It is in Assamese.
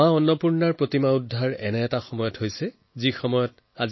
মাতা অন্নপূৰ্ণাৰ প্ৰতিমা ঘূৰাই অনাৰ লগত আৰু এটি ঘটনাৰ জড়িত হৈ আছে